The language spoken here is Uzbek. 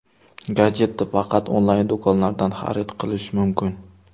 Gadjetni faqat onlayn do‘konlardan xarid qilish mumkin.